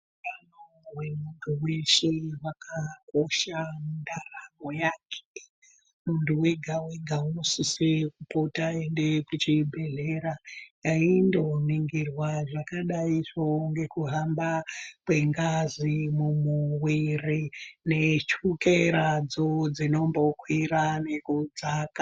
Muntu wegawega unosise kupota einde kuzvibhedhlera eindoningirwa zvakadaizvo ngekuhamba kwengazi mumuwiri nechukeradzo dzinombokwira nekudzaka.